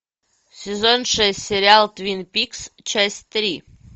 сезон шесть сериал твин пикс часть три